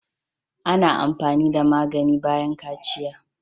Ana amfani da magani bayan kaciya.